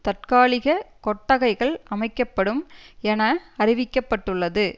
தற்காலிக கொட்டகைகள் அமைக்க படும் என அறிவிக்க பட்டுள்ளது